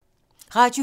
Radio 4